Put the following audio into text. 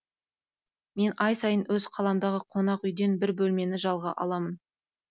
мен ай сайын өз қаламдағы қонақ үйден бір бөлмені жалға аламын